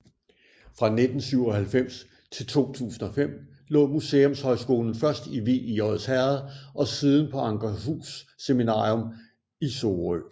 Fra 1997 til 2005 lå Museumshøjskolen først i Vig i Odsherred og siden på Ankerhus Seminarium i Sorø